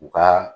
U ka